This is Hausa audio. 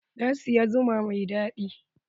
Na siyi zuma mai daɗi.